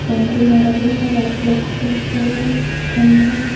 Boundary मारा हुआ है व्हाइट कलर से पेंट किया है खंबा है।